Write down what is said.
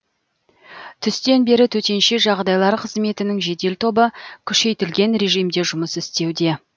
түстен бері төтенше жағдайлар қызметінің жедел тобы күшейтілген режимде жұмыс істеуде